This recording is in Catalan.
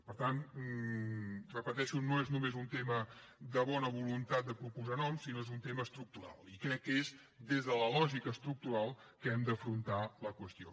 per tant ho repeteixo no és només un tema de bona voluntat de proposar noms sinó que és un tema estructural i crec que és des de la lògica estructural que hem d’afrontar la qüestió